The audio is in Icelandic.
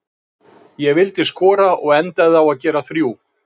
Ég vildi skora og endaði á að gera þrjú.